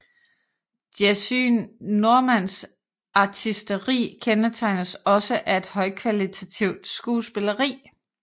Jessye Normans artisteri kendetegnes også af et højkvalitativt skuespilleri